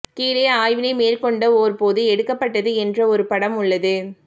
கீழே ஆய்வினை மேற்கொண்ட ஓர் போது எடுக்கப்பட்டது என்று ஒரு படம் உள்ளது